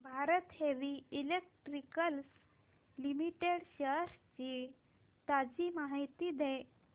Bharat heavy electricals limited shares ची ताजी माहिती दे